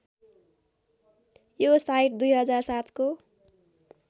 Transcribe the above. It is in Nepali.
यो साइट २००७ को